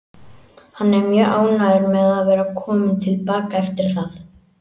Hann er mjög ánægður með að vera kominn til baka eftir það.